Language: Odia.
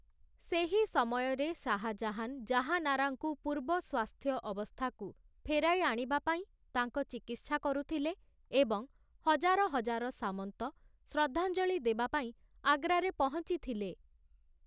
ସେହି ସମୟରେ ଶାହାଜାହାନ୍ ଜାହାନାରାଙ୍କୁ ପୂର୍ବ ସ୍ୱାସ୍ଥ୍ୟ ଅବସ୍ଥାକୁ ଫେରାଇ ଆଣିବା ପାଇଁ ତାଙ୍କ ଚିକିତ୍ସା କରୁଥିଲେ ଏବଂ ହଜାର ହଜାର ସାମନ୍ତ ଶ୍ରଦ୍ଧାଞ୍ଜଳି ଦେବା ପାଇଁ ଆଗ୍ରାରେ ପହଞ୍ଚି ଥିଲେ ।